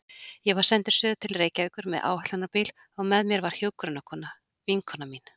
Ég var sendur suður til Reykjavíkur með áætlunarbíl og með mér var hjúkrunarkona, vinkona mín.